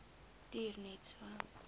duur net so